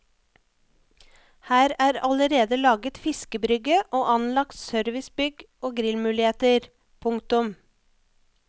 Her er allerede laget fiskebrygge og anlagt servicebygg og grillmuligheter. punktum